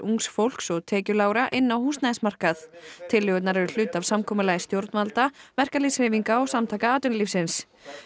ungs fólks og tekjulágra inn á húsnæðismarkað tillögurnar eru hluti af samkomulagi stjórnvalda verkalýðshreyfinga og Samtaka atvinnulífsins